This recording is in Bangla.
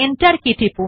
লেখা যাক NAME রমেশ